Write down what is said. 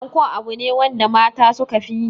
Anko abu ne wanda mata suka fi yi.